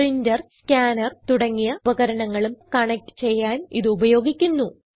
printer scanner തുടങ്ങിയ ഉപകരണങ്ങളും connect ചെയ്യാൻ ഇത് ഉപയോഗിക്കുന്നു